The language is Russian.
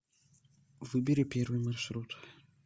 выбери первый маршрут